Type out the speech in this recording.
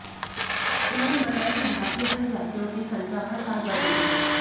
उन्होंने बताया कि भारतीय हज यात्रियों की संख्या हर साल बढ़ रही है